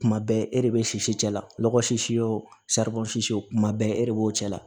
Kuma bɛɛ e de bɛ sisi cɛ la lɔgɔ sis o kuma bɛɛ e de b'o cɛ la